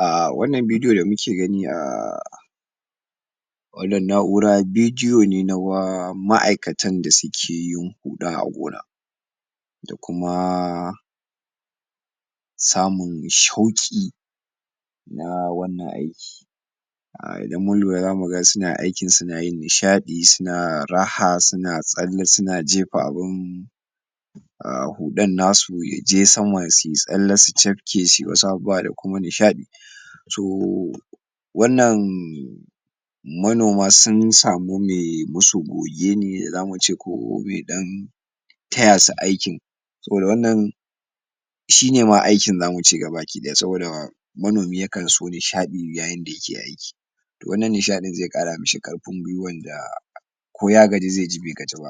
um wannan bidiyo da muke gani um wannan na'ura bidiyo ne na ma'aikatan da suke yin huda a gona, da kuma samun shauki na wannan aiki.[um] idan mun lura zamu ga suna aikin suna yin nishadi suna raha suna tsalle suna jefa abun[um] hudan nasu yaje sama suyi tsalle suyi cafke su wasu abubuwa da kuma nishadi. To wannan manoma sun samu me musu goge ne da zamu ce ko me dan tayasu aikin saboda wannan shine ma aikin zamu ce gabadaya saboda mano mi yakan so nishadi yayin dayake aiki wannan nishadin ze kara ,mashi karfin kulla ko ya gaji ze ji be gaji ba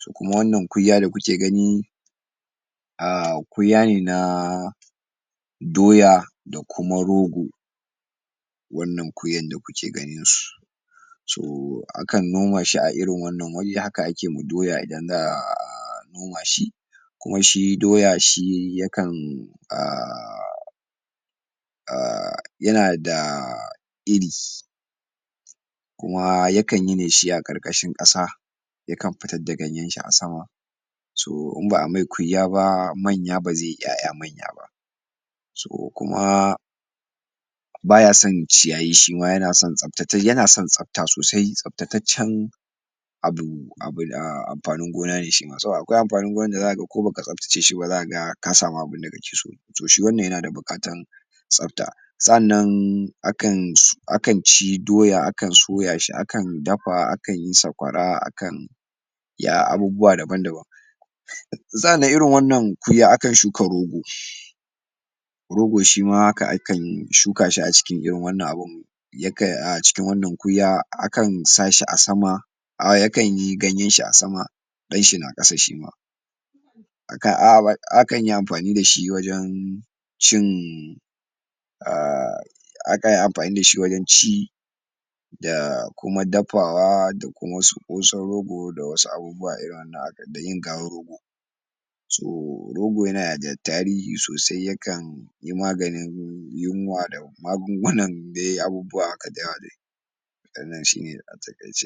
domin wannan kunya dakuke gani um kunya ne na doya da kuma rogo wannan kunyan da kuke ganin su, um akan noma shi a irin wannan wuri, haka akema doya idan za'a um nomashi kuma shi doya shi yakan um um um yanada um iri kuma yakan yi ne shi akarkashin kasa yakan fitar da ganyan shi a sama so in ba'a mai kunya manya ba ba zeyi yaya manya ba so kuma bayasan ciyayi shima yana son tsafta tai yana son tsafta sosai tsaftaceccen abu abu da amfanin gona ne shima saboda akwai amfanin gona da zaka ga ko baka tsafta ce shiba zaka samu abun dake so to shi wannan yana da bukatan tsafta sa'annan akanso akan ci doya doya akan soya shi, akan dafa, akan yi sakwara akan yi abubuewa daban daban sannan irin wannan kunya akan shuka rogo, rogo shima haka akan shuka shi cikin irin wannan abu yakan ya acikin wannan kunya akan sashi a sama [um]ya kanyi ganyen shi a sama danshi na kasa shi ma.A kanyi amfani da shi wajen cin um akanyi amfani dashi wajen ci da kuma dafawa da kuma su kosan rogo da wasu abubuwa irin nayin garin rogo, so rogo yana da tarihi sosai yakan maganin yunwa da magungunan dai abubuwa haka wannan shine a takaice.